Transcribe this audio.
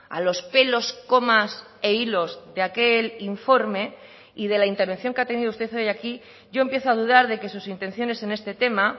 a los pelos comas e hilos de aquel informe y de la intervención que ha tenido usted hoy aquí yo empiezo a dudar de que sus intenciones en este tema